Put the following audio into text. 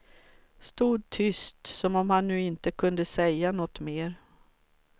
Stod tyst, som om han nu inte kunde säga något mer.